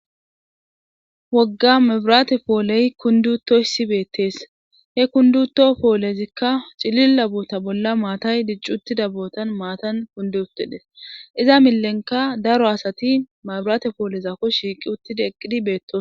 Wogga mabiraate pooley kundutoyssi beettees he kunduto poolezikka cililla boota bolla maatay dicc uttida bootan maatan kundu uttides iza milenka daro asati mabiraate pooleza kos shiiqi uttida eqqidi beettos.